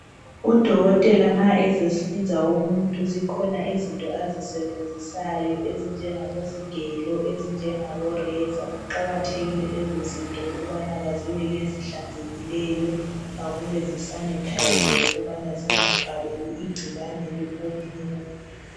Udokotela ma ezahlinza umuntu zikhona izinto azisebenzisayo ezinjengabo sigelo ezinjengabo razor kuqakathekile lezozinto ukubana kube ngezihlanzekileyo kube zi sanitiziwe ukubana zingathaleli igcikwane komunye umuntu